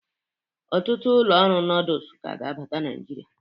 Ọtụtụ ụlọ ọrụ nọdụs ka ga-abata Naịjirịa.